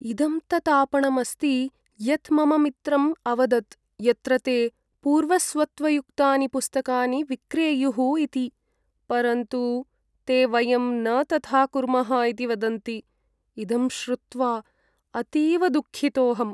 इदं तत् आपणम् अस्ति यत् मम मित्रम् अवदत् यत्र ते पूर्वस्वत्वयुक्तानि पुस्तकानि विक्रेयुः इति, परन्तु ते वयं न तथा कुर्मः इति वदन्ति, इदं श्रुत्वा अतीव दुःखितोहम्।